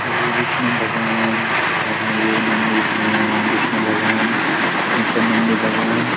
यूं विष्णु भगवान् और नयु नंदी अ विष्णु भगवान् ई सब नंदी भगवान्।